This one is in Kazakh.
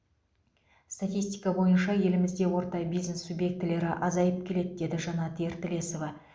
статистика бойынша елімізде орта бизнес субъектілері азайып келеді деді жанат ертілесова